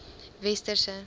westerse